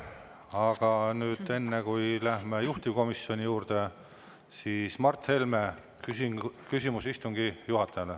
Aga nüüd, enne kui läheme juhtivkomisjoni juurde, siis Mart Helme, küsimus istungi juhatajale.